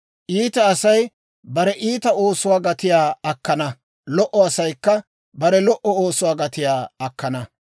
Iita Asay bare iita oosuwaa gatiyaa akkana; lo"o asaykka bare lo"o oosuwaa gatiyaa akkana.